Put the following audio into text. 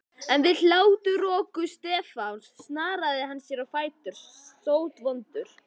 En við hláturroku Stefáns snaraðist hann á fætur, sótvondur.